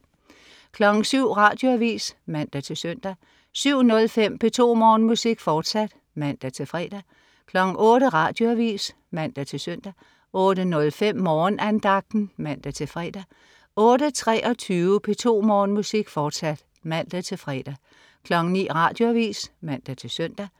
07.00 Radioavis (man-søn) 07.05 P2 Morgenmusik, fortsat (man-fre) 08.00 Radioavis (man-søn) 08.05 Morgenandagten (man-fre) 08.23 P2 Morgenmusik, fortsat (man-fre) 09.00 Radioavis (man-søn)